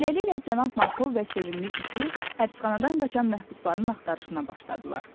Beləliklə, cənab Markov və sevimli iti həbsxanadan qaçan məhbusların axtarışına başladılar.